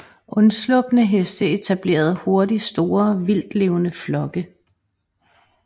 Undslupne heste etablerede hurtigt store vildtlevende flokke